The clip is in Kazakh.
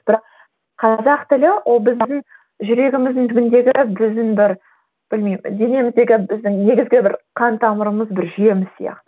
бірақ қазақ тілі ол біздің жүрегіміздің түбіндегі біздің бір білмеймін денеміздегі біздің негізгі бір қан тамырымыз бір жүйеміз сияқты